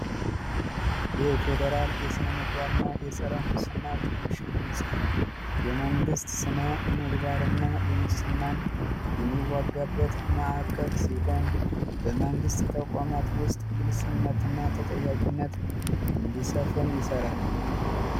የፌዴራል የስነ ምግባርና የፀረ ሙስና ኮሚሽን ህንፃ የመንግስት ስነ የሙስናን የሚዋጋበት ማዕከል ሲሆን በመንግስት ተቋማት ውስጥ ግልፀኝነትና ተጠያቂነት እንዲሰፍን ይሰራል